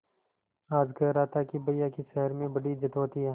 आज कह रहा था कि भैया की शहर में बड़ी इज्जत होती हैं